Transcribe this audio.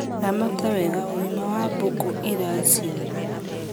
Ramata wega ũgima wa mbũkũ iraciara